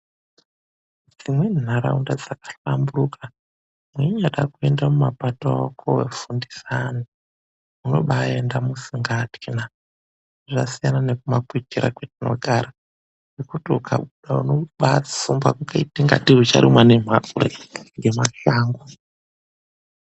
Dzimweni nharaunda dzakahlamburuka weinyada kuenda mumapato kundofundisa ana unobaaenda usingatyi na. Zvasiyana nekuma kwitira kwetinogara kwekuti weihamba unotsumba, ingatei ucharumwa nemhukre, ngemashango.